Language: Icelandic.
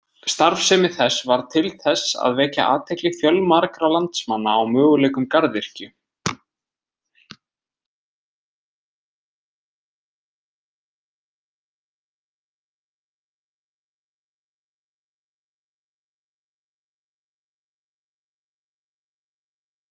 Starfsemi þess varð til þess að vekja athygli fjölmargra landsmanna á möguleikum garðyrkju.